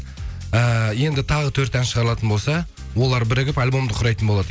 э енді тағы төрт ән шығаралатын болса олар бірігіп альбомды құрайтын болады